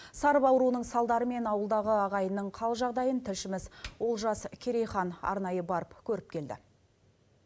сарып ауруының салдарымен ауылдағы ағайынның хал жағдайын тілшіміз олжас керейхан арнайы барып көріп келді